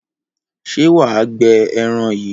Ṣé wà á gbẹ ẹran yìí?